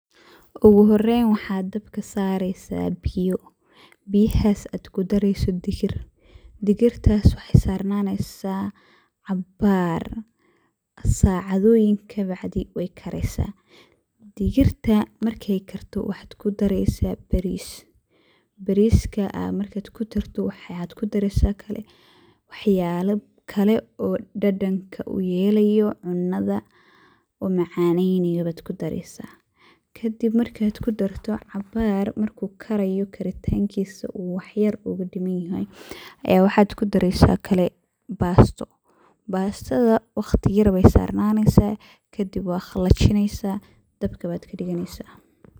Oguhoren waxa dabka sareysa biyo, biyahas waxad kudareysa dhigir, dhigirtas wexey sarnaneysa cabaar sacadoyin kadib wey kareysa. Dhigirta markey karto waxad kudareysa baris, bariskas markad kudarto waxad kudareysa kale waxyale kale oo dadanka uyelayo cunada oo macanenayo bad kudareysa kadib markad kudarto oo cabar uu karayo karitankisa wax yar ogadimanyahay ayad waxa kudareysa oo kale basto, bastada waqti yar ayey sarnaneysa kadib wad qalijineysa dabka bad kadiganeysa.